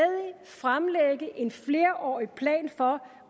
fremlægge en flerårig plan for